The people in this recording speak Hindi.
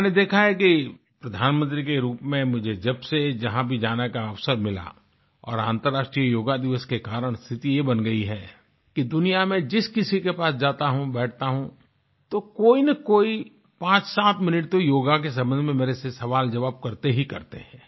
मैंने देखा है कि प्रधानमंत्री के रूप में मुझे जब से जहाँ भी जाने का अवसर मिला और अंतर्राष्ट्रीय योग दिवस के कारण से स्थिति ये बन गई है कि दुनिया में जिस किसी के पास जाता हूँ बैठता हूँ तो कोई न कोई पाँचसात मिनट तो योग के संबंध में मेरे से सवालजवाब करते ही करते हैं